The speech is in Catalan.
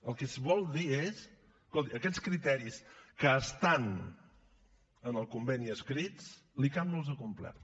el que es vol dir és escolti aquests criteris que estan en el conveni escrits l’icam no els ha complert